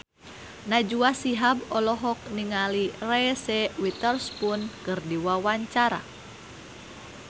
Najwa Shihab olohok ningali Reese Witherspoon keur diwawancara